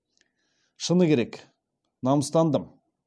шыны керек намыстандым